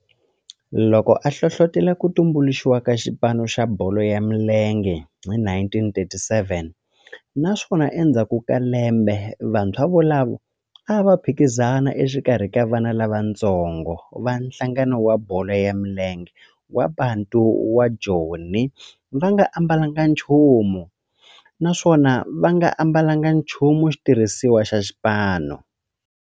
Loko a hlohlotela ku tumbuluxiwa ka xipano xa bolo ya milenge hi 1937 naswona endzhaku ka lembe vantshwa volavo a va phikizana exikarhi ka vana lavatsongo va nhlangano wa bolo ya milenge wa Bantu wa Joni va nga ambalanga nchumu naswona va nga ambalanga nchumu xitirhisiwa xa xipano.